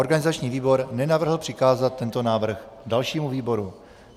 Organizační výbor nenavrhl přikázat tento návrh dalšímu výboru.